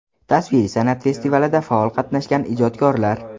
Tasviriy san’at festivalida faol qatnashgan ijodkorlar.